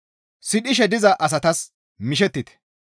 Sidhishe diza asatas mishettite.